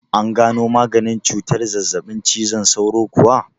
An gano maganin cutar zazzaɓin cizon sauro kuwa?